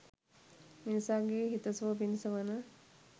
මිනිසාගේ හිත සුව පිණිස වන